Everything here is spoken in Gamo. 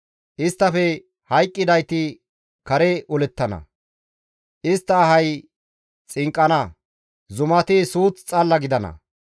Isttafe hayqqidayti kare olettana; istta ahay xinqqana. Zumati suuth xalla gidana.